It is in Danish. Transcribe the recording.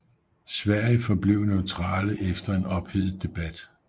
Sverige forblev neutrale efter en ophedet debat